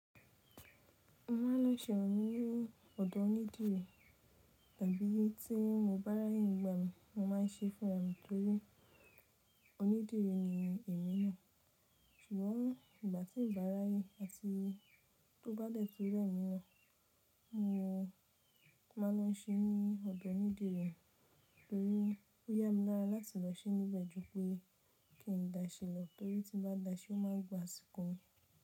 Mo máa ń lọ sẹrun ní ọdọ onídìrí tàbí bí tí mo bá raye nígbà mi mo máa ń ṣe fún arami torí onídìrí ni èmi náà. Ṣùgbọ́n ìgbà tí n bá ráye àti tó bá dẹ́tun rẹ́mí náà mo máa ń lọ sẹrun ní ọdọ onídìrí torí ó yà mí lára láti lọ sẹrun níbẹ̀ ju pé kí n daṣẹ́ lọ torí tí n bá daṣẹ́ ó máa gbà asiko mi.